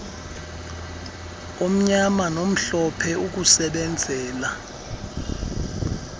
omnyama nomhlophe ukusebenzela